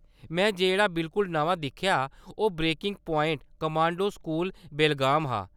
में जेह्‌‌ड़ा बिलकुल नमां दिक्खेआ ओह्‌‌ breaking point : commando school, Belgaum हा।